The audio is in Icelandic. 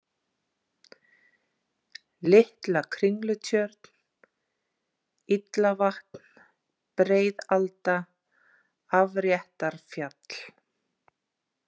Litla-Kringlutjörn, Illavatn, Breiðalda, Afréttarfjall